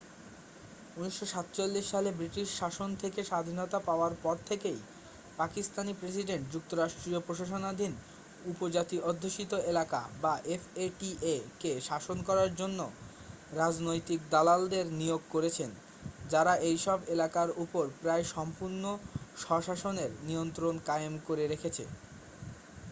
1947 সালে ব্রিটিশ শাসন থেকে স্বাধীনতা পাওয়ার পর থেকেই পাকিস্তানী প্রেসিডেন্ট যুক্তরাষ্ট্রীয় প্রশাসনাধীন উপজাতি অধ্যুষিত এলাকা বা এফ এ টি এ-কে শাসন করার জন্য রাজনৈতিক দালালদের নিয়োগ করেছেন যারা এইসব এলাকার উপর প্রায়-সম্পূর্ণ স্বশাসনের নিয়ন্ত্রণ কায়েম করে রেখেছে